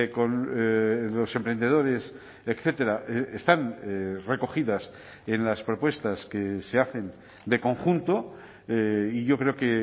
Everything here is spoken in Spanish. con los emprendedores etcétera están recogidas en las propuestas que se hacen de conjunto y yo creo que